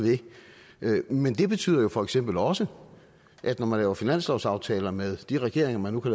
ved men det betyder jo for eksempel også at når man laver finanslovsaftaler med de regeringer man nu